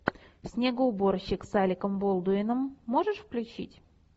снегоуборщик с алеком болдуином можешь включить